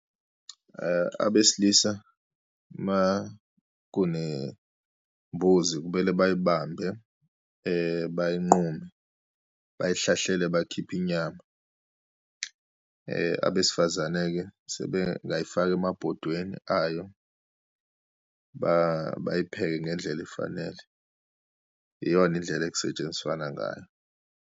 Abesilisa uma kunembuzi, kumele bayibambe, bayinqume, bayihlahlele bakhiphe inyama. Abesifazane-ke sebengayifaka emabhodweni ayo, bayipheke ngendlela efanele. Iyona indlela ekusetshenziswana ngayo.